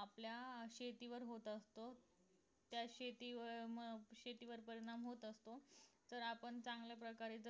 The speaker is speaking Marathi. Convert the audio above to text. आपल्या अं शेतीवर होत असतो त्या शेतीवर अं त्या शेतीवर परिणाम होत असतो तर आपण चांगल्या प्रकारे जर